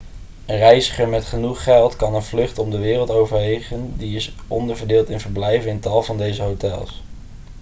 een reiziger met genoeg geld kan een vlucht om de wereld overwegen die is onderverdeeld in verblijven in tal van deze hotels